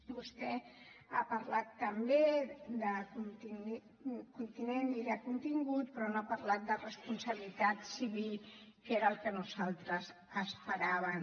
vostè ha parlat també de continent i de contingut però no ha parlat de responsabilitat civil que era el que nosaltres esperàvem